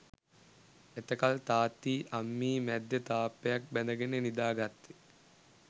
එතකල් තාත්තියි අම්මියි මැද්දෙ තාප්පයක් බැඳගෙන නිදාගත්තෙ